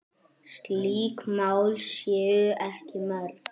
Slík mál séu ekki mörg.